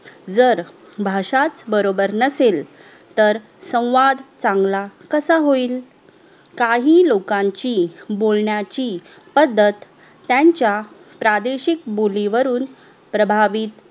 जर भाषाच बरोबर नसेल तर संवाद चांगला कसा होईल काही लोकांची बोलण्याची पद्धत त्यांच्या प्रादेशिक बोलीवरून प्रभावित